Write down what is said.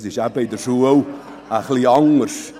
Das ist eben in der Schule ein wenig anders.